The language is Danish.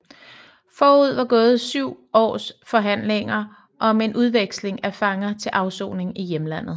Forud var gået syv års forhandlinger om en udveksling af fanger til afsoning i hjemlandet